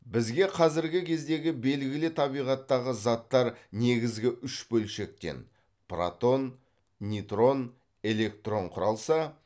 бізге қазіргі кездегі белгілі табиғаттағы заттар негізгі үш бөлшектен құралса